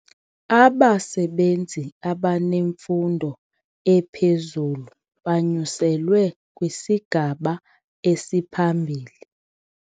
Abasebenzi abanemfundo ephezulu banyuselwe kwisigaba esiphambili.